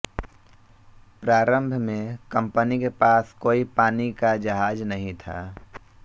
प्रारम्भ में कंपनी के पास कोई पानी का जहाज नहीं था